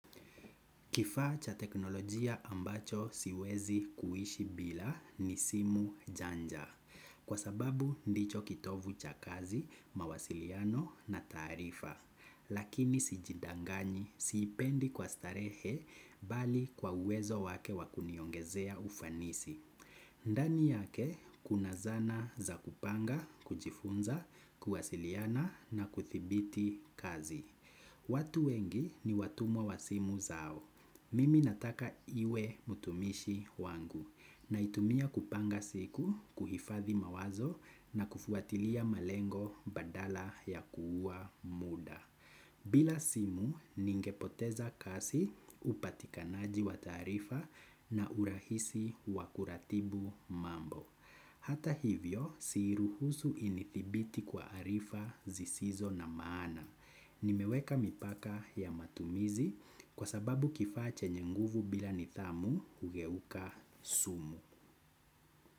Kifaa cha teknolojia ambacho siwezi kuishi bila ni simu janja. Kwa sababu ndicho kitovu cha kazi, mawasiliano na taarifa. Lakini sijidanganyi, siipendi kwa starehe, bali kwa uwezo wake wakuniongezea ufanisi. Ndani yake, kuna zana za kupanga, kujifunza, kuwasiliana na kuthibiti kazi. Watu wengi ni watumwa wa simu zao. Mimi nataka iwe mutumishi wangu naitumia kupanga siku, kuhifadhi mawazo na kufuatilia malengo badala ya kuuwa muda. Bila simu, ningepoteza kazi, upatikanaji wa taarifa na urahisi wakuratibu mambo. Hata hivyo siiruhusu inithibiti kwa arifa zisizo na maana. Nimeweka mipaka ya matumizi kwa sababu kifaa chenye nguvu bila nidhamu hugeuka sumu.